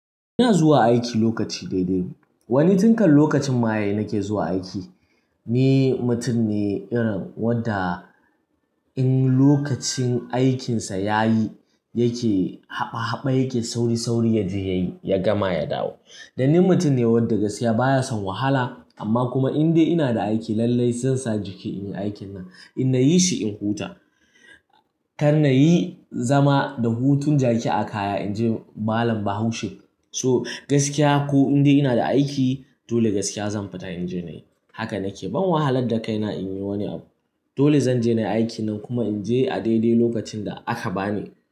Ina zuwa aiki lokaci daidai. Wani tinkan lokacin ma yayi nake zuwa aiki. Ni mutum ne irin wadda in lokacin aikinsa ya yi yake haɓa haɓa yake sauri sauri yaje yayi ya gama ya dawo. Dani mutum ne wadda gaskiya baya son wahala amma kuma in dai ina da aiki lallai zansa jiki inyi aikin nan. In nayi shi in huta. Kar nayi zama da hutun jaki a kaya inji Malam Bahaushe. To gaskiya ko in dai ina da aiki dole gaskiya zan fita inje nayi. Haka nake ban wahalar da kaina in yi wani abu. Dole zanje nayi aikin nan kuma in je a daidai lokacin da aka bani.